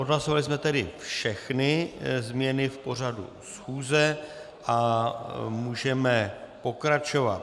Odhlasovali jsme tedy všechny změny v pořadu schůze a můžeme pokračovat.